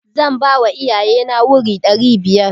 Zan bawa iyaye na wuri ɗari biyar.